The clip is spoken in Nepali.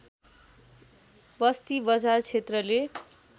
बस्ती बजार क्षेत्रले